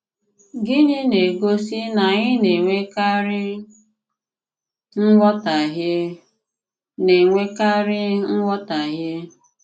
Gịnị na-egosí na anyị na-enwèkàrí nghọtàhìe? na-enwèkàrí nghọtàhìe?